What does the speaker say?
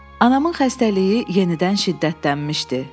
Anamın xəstəliyi yenidən şiddətlənmişdi.